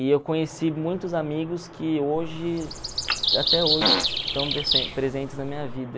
E eu conheci muitos amigos que hoje, até hoje, estão presentes na minha vida.